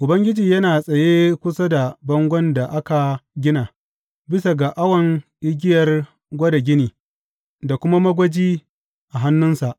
Ubangiji yana tsaye kusa da bangon da aka gina, bisa ga awon igiyar gwada gini, da kuma magwaji a hannunsa.